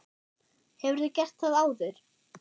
Hefurðu gert það áður?